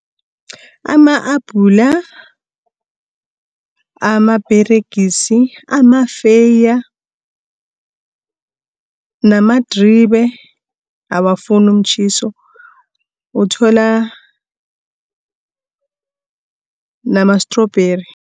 Ama-apula, amaperegisi, amafeeya namadribe awafuni umtjhiso, uthola namastrubheri.